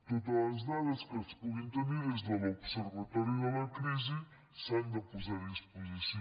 totes les dades que es puguin tenir des de l’observatori de la crisi s’han de posar a disposició